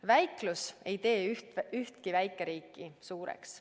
Väiklus ei tee ühtki väikeriiki suureks.